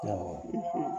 Awɔ